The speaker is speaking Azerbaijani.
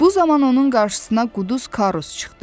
Bu zaman onun qarşısına quduz Karus çıxdı.